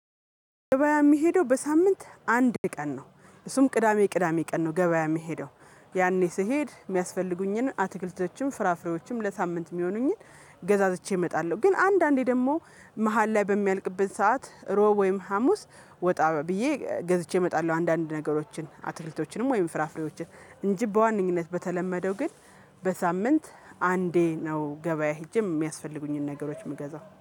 ገበያ የሚሄደው በሳምንት አንድ ቀን ነው እሱም ቅዳሜ ቅዳሜ ቀን ነው ገበያ የሚሄደው። ያኔ ስሄድ የሚያስፈልጉኝን አትክልቶችም ፍራፍሬዎችም ለሳምንት የሚሆኑኝን ገዛዝቼ እመጣለሁ። ግን አንዳንዴ ደግሞ መሃል ላይ በሚያልቅበት ሰዓት ሮብ ወይም ሀሙስ ወጣ ብዬ ገዝቼ እመጣለሁ። አንዳንድ ነገሮችን አትክልቶችንም ወይም ፍራፍሬዎችን እንጂ በዋነኝነት በተለመደው ግን በሳምንት አንዴ ነው። ገበያ ሄጄ የሚያስፈልጉኝን ነገሮች የምገዛው